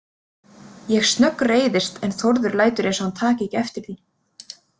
Ég snöggreiðist en Þórður lætur eins og hann taki ekki eftir því.